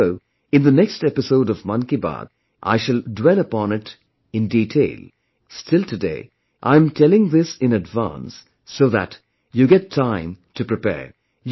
Although in the next episode of 'Mann Ki Baat' I shall dwell upon it in detail, still today I am telling this in advance so that you get time to prepare